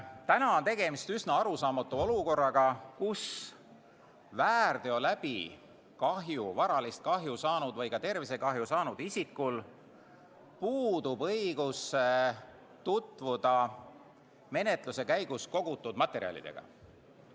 Täna on tegemist üsna arusaamatu olukorraga, kus väärteo tõttu varalist kahju või tervisekahju saanud isikul puudub õigus tutvuda menetluse käigus kogutud materjalidega.